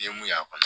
I ye mun y'a kɔnɔ